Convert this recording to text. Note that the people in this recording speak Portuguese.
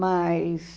Mas...